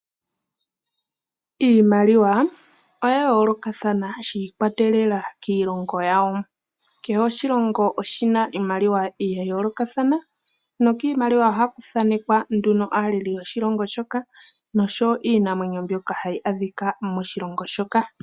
Iimaliwa oya yoloka thana shikwatelela kiilongo yawo , kehe oshilongo oshina iimaliwa ya yoloka thana nokimaliwa ohaku thanekea nduno aaleli yoshilongo shoka nosho Iinamwenyo mbyoka hayi adhika moshilongo shoka.